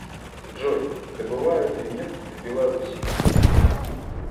джой добывают ли нефть в беларуси